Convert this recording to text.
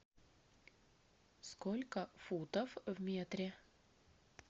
сколько футов в метре